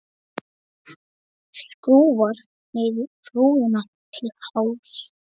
Skrúfar niður rúðuna til hálfs.